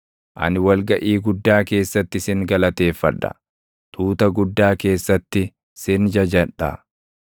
Ani wal gaʼii guddaa keessatti sin galateeffadha; tuuta guddaa keessatti sin jajadha.